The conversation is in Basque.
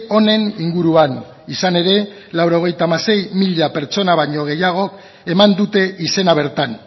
honen inguruan izan ere laurogeita hamasei mila pertsona baino gehiago eman dute izena bertan